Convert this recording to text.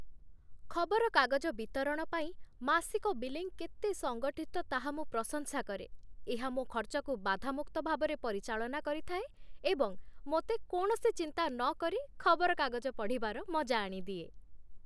ଖବରକାଗଜ ବିତରଣ ପାଇଁ ମାସିକ ବିଲିଂ କେତେ ସଙ୍ଗଠିତ ତାହା ମୁଁ ପ୍ରଶଂସା କରେ ଏହା ମୋ ଖର୍ଚ୍ଚକୁ ବାଧାମୁକ୍ତ ଭାବରେ ପରିଚାଳନା କରିଥାଏ ଏବଂ ମୋତେ କୌଣସି ଚିନ୍ତା ନକରି ଖବରକାଗଜ ପଢ଼ିବାର ମଜା ଆଣିଦିଏ